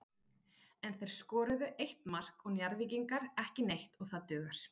En þeir skoruðu eitt mark og Njarðvíkingar ekki neitt og það dugar.